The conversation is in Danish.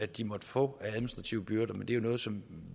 de måtte få af administrative byrder men det er jo noget som